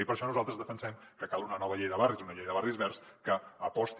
i per això nosaltres defensem que cal una nova llei de barris una llei de barris verds que aposti